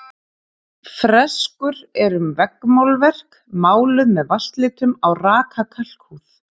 Freskur eru veggmálverk, máluð með vatnslitum á raka kalkhúð.